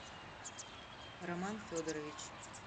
роман федорович